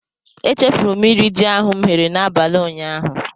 E chefuru m iri ji ahụ m ghere n'abalị ụnyaahụ.